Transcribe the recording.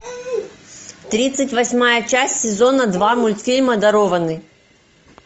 тридцать восьмая часть сезона два мультфильма дарованный